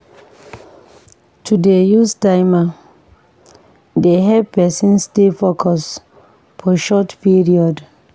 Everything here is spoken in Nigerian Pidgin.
To dey use timer dey help pesin stay focus for short period.